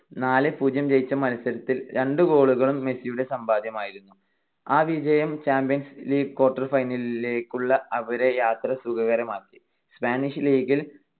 നാല് - പൂജ്യം ജയിച്ച മത്സരത്തിൽ രണ്ട് goal കളും മെസ്സിയുടെ സമ്പാദ്യമായിരുന്നു. ആ വിജയം ചാമ്പ്യൻസ് ലീഗ് quarter final ലിലേക്കുള്ള അവരുടെ യാത്ര സുഖകരമാക്കി. സ്പാനിഷ് ലീഗിൽ